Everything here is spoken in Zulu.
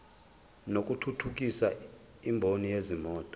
lokuthuthukisa imboni yezimoto